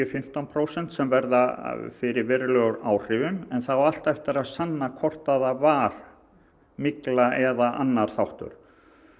fimmtán prósent sem verða fyrir verulegum áhrifum en það á alltaf eftir að sanna hvort það var mygla eða annar þáttur